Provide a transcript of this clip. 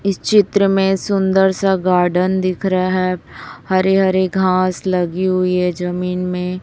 इस चित्र में सुंदर सा गार्डन दिख रहा है हरी हरी घास लगी हुई है जमीन में।